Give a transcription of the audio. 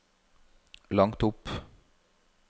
langt opp